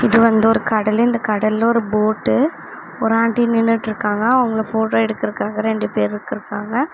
இது வந்து ஒரு கடலு இந்த கடல்ல ஒரு போட்டு ஒரு ஆண்டி நின்னுட்டு இருக்காங்க அவங்கள போட்டோ எடுக்க இரண்டு பேருக்கிரு இருக்கிறாங்க.